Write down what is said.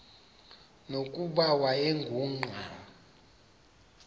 nokuba wayengu nqal